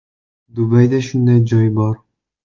“Dubayda shunday joy bor.